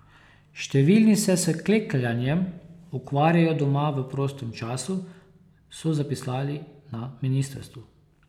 Številni se s klekljanjem ukvarjajo doma v prostem času, so zapisali na ministrstvu.